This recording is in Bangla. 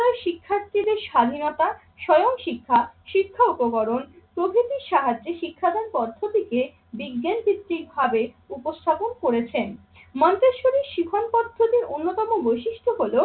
শিক্ষার্থীদের স্বাধীনতা, স্বয়ংশিক্ষা, শিক্ষা উপকরণ, প্রকৃতির সাহায্যে শিক্ষাদান পদ্ধতিকে বিজ্ঞান ভিত্তিক ভাবে উপস্থাপন করেছেন। মন্তেশ্বরী শিখন পদ্ধতির অন্যতম বৈশিষ্ট্য হলো